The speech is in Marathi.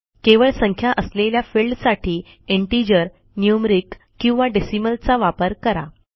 केवळ संख्या असलेल्या फिल्डसाठी इंटिजर न्यूमेरिक किंवाdecimalचा वापर करा